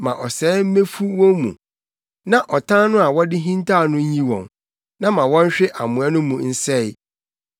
ma ɔsɛe mmefu wɔn mu na ɔtan no a wɔde hintaw no nyi wɔn, na ma wɔnhwe amoa no mu nsɛe.